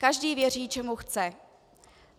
Každý věří, čemu chce.